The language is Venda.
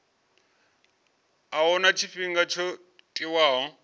a huna tshifhinga tsho tiwaho